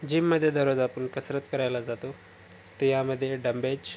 gym मध्ये दररोज आपण कसरत करायला जातो ते या मध्ये डमबेज --